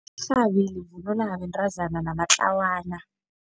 Irhabi livunulwa bentazana namatlawana.